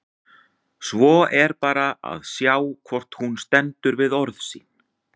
Svo er bara að sjá hvort hún stendur við orð sín!